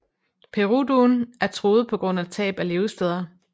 Peruduen er truet på grund af tab af levesteder